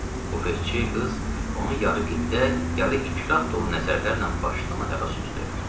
Bufetçi qız onu yarı qibdə, yarı ikrah dolu nəzərlərlə başdan ayağa süzdü.